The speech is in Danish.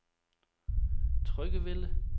Tryggevælde